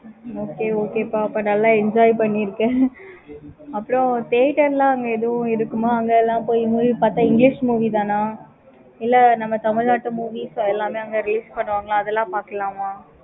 okay okay ப்ப அப்ப நல்ல enjoy பண்ணிருக்க. அப்பறம் theatre லாம் அங்க எது இருக்குமா? அங்க எல்லாம் போய் movie பார்த்த english movie தான் ஆஹ் இல்ல நம்ம தமிழ்நாட்டுல movies எல்லாமே அங்க release பண்ணுவாங்க. அதெல்லாம் பார்க்கலாமா?